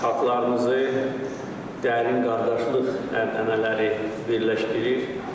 Xalqlarımızı dərin qardaşlıq ənənələri birləşdirir.